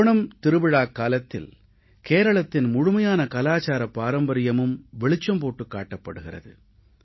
ஓணம் திருவிழாக் காலத்தில் கேரளத்தின் முழுமையான கலாச்சாரப் பாரம்பரியமும் வெளிச்சம் போட்டுக் காட்டப் படுகிறது